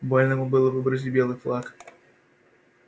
больно ему было выбросить белый флаг